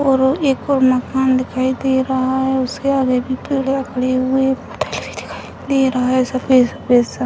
और एक और माकन दिखाई दे रहा है उसके दिखाई दे रहा है सफ़ेद-सफ़ेद सा।